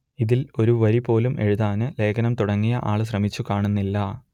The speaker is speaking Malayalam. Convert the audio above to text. ഇതിൽ ഒരു വരി പോലും എഴുതാൻ ലേഖനം തുടങ്ങിയ ആൾ ശ്രമിച്ചു കാണുന്നില്ല